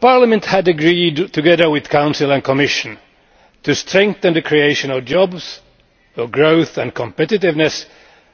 Parliament had agreed, together with the Council and Commission, to strengthen the creation of jobs for growth and competitiveness,